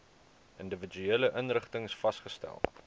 individuele inrigtings vasgestel